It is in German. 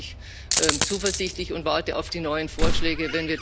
Auch da bin ich zuversichtlich und warte auf die neuen Vorschläge.